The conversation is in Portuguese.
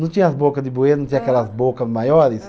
Não tinha as boca de bueiro, não tinha aquelas boca maiores.